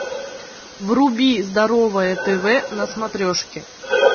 вруби здоровое тв на смотрешке